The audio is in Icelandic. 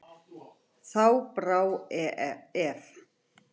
Þá brá ef.